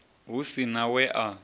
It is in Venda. hu si na we a